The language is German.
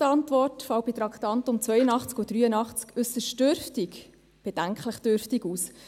Die Antwort des Regierungsrates zu den Traktanden 82 und 83 fällt äusserst dürftig, ja bedenklich dürftig aus.